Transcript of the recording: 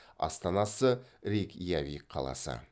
астанасы рейкьявик қаласы